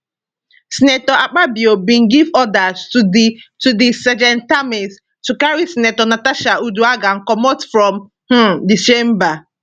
senator akpabio bin give order to di to di sergeantatarms to carry senator natasha uduaghan comot from um di chamber